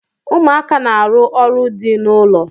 Ụmụaka na-arụ ọrụ dị n'ụlọ.